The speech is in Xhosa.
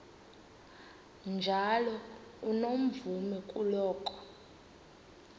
njalo unomvume kuloko